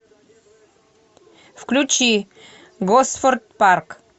включи госфорд парк